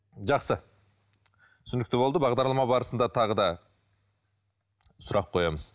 жақсы түсінікті болды бағдарлама барысында тағы да сұрақ қоямыз